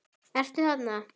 Ertu þarna?